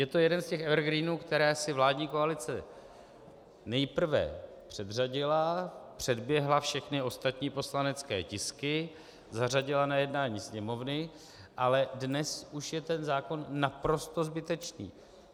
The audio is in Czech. Je to jeden z těch evergreenů, které si vládní koalice nejprve předřadila, předběhla všechny ostatní poslanecké tisky, zařadila na jednání Sněmovny, ale dnes už je ten zákon naprosto zbytečný.